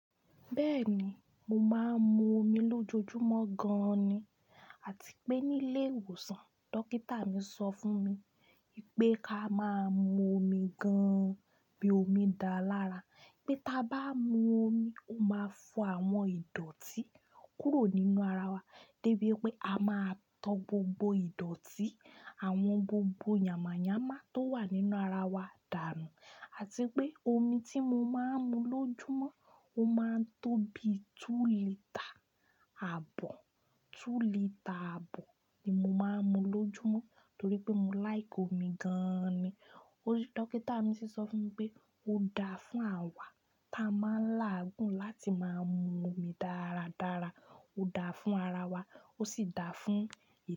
Bẹ́ẹ̀ni, mo máa ń mu omi lójoojúmọ́ gan-an ni. Àti pé nílé ìwòsàn, dókítà mi sọ fún mi pé ká máa mu omi gan-an, pé omi dáa lára, pé tí a bá mu omi, ó máa fọ àwọn ìdọ̀tí kúrò nínú ara wa débi pé a máa tọ gbogbo ìdọ̀tí, àwọn gbogbo yàmànyámá tó wà nínú ara wa dànù. Àti pé omi tí mo máa ń mu lójoojúmọ́, ó máa ń tó bi two lítre àbọ̀. Two lítre àbọ̀ ni mo máa ń mu lójoojúmọ́ torí pé mo láìkì omi gan-an ni. Dókítà mi sì sọ fún mi pé ó dáa fún àwa tí a máa ń láàgùn láti máa mu omi dáradára. Ó dáa fún ara wa, ó sì dáa fún ìtọ́.